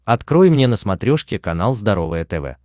открой мне на смотрешке канал здоровое тв